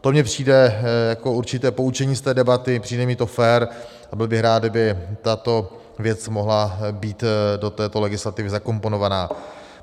To mně přijde jako určité poučení z té debaty, přijde mi to fér a byl bych rád, kdyby tato věc mohla být do této legislativy zakomponována.